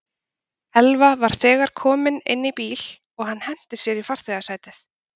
Elva var þegar kominn inn í bíl og hann henti sér í farþegasætið.